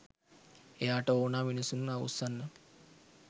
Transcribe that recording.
එයාට ඕනා මිනිස්සුන්ව අවුස්සන්න